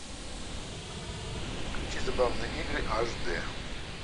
включи забавные игры аш д